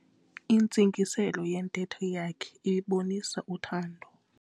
Intsingiselo yentetho yakhe ibibonisa uthando.